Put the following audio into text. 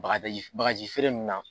Bagadaji bagaji feere minnu na